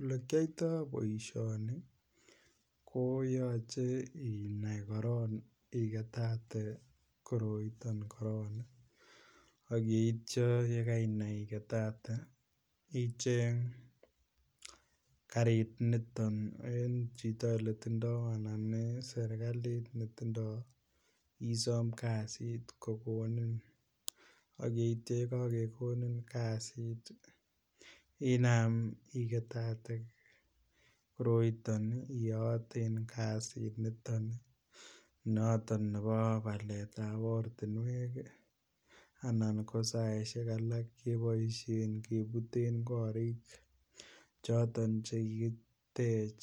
Ole kiyoito boisioni koyoche inai korok igetate koroito korok ak yeityo ye kainai igetate icheng karit niton en chito netindoi anan en serkalit noton netindoi isom kasit ko konin ak yeityo ye kakekonin kasit inam igetate koroiton iyooten kasit noton nebo baletab ortinwek anan ko saisiek alak keboisien kebuten korik choton Che kikitech